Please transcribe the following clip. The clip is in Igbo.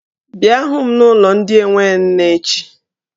Bịa hụ m gị n'ụlọ ndị enwe nne echi!